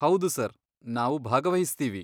ಹೌದು ಸರ್, ನಾವು ಭಾಗವಹಿಸ್ತೀವಿ.